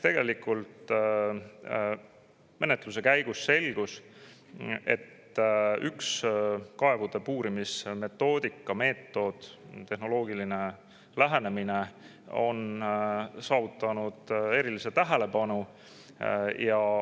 Menetluse käigus selgus, et üks kaevude puurimise metoodika, meetod, tehnoloogiline lähenemine on saanud eriliselt tähelepanu.